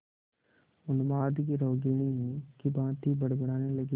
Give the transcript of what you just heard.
उन्माद की रोगिणी की भांति बड़बड़ाने लगी